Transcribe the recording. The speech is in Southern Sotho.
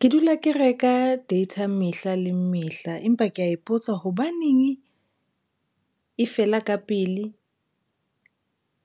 Ke dula ke reka data mehla le mehla, empa ke ya ipotsa hobaneng e fela ka pele